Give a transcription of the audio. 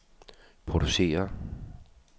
producerer